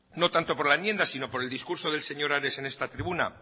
no tanto por la enmienda sino por el discurso del señor ares en esta tribuna